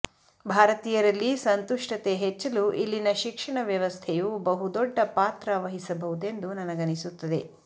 ಭಾರತೀಯರಲ್ಲಿ ಸಂತುಷ್ಟತೆ ಹೆಚ್ಚಲು ಇಲ್ಲಿನ ಶಿಕ್ಷಣ ವ್ಯವಸ್ಥೆಯು ಬಹುದೊಡ್ಡ ಪಾತ್ರವಹಿಸಬಹುದೆಂದು ನನಗನಿಸುತ್ತದೆ